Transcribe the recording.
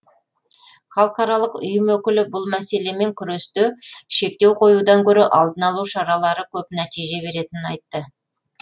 халықаралық ұйым өкілі бұл мәселемен күресте шектеу қоюдан гөрі алдын алу шаралары көп нәтиже беретінін айтты